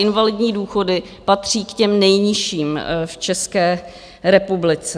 Invalidní důchody patří k těm nejnižším v České republice.